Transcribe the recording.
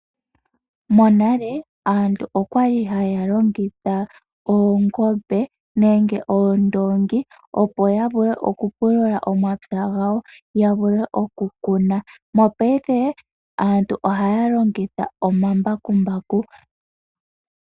Monale aantu okwali haya longitha oongombe nenge oondoongi opo yavule oku pulula omapya gawo, yavule oku kuna. Mopayife aantu ohaya longitha omambakumbaku.